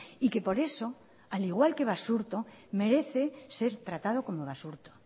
y que por eso al igual que basurto merece ser tratado como basurto